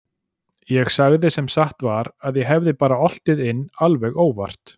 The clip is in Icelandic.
Ég sagði sem satt var að ég hefði bara oltið inn alveg óvart.